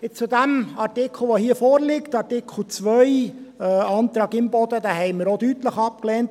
Der Artikel, der hier vorliegt, Artikel 2, Antrag Imboden, haben wir auch deutlich abgelehnt.